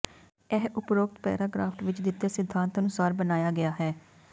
ਇਹ ਉਪਰੋਕਤ ਪੈਰਾਗ੍ਰਾਫਟ ਵਿੱਚ ਦਿੱਤੇ ਸਿਧਾਂਤ ਅਨੁਸਾਰ ਬਣਾਇਆ ਗਿਆ ਹੈ